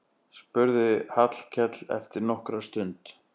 spurði Hallkell eftir nokkra stund.